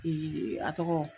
a tɔgɔ